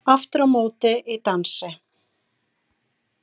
Aftur á móti í dansi.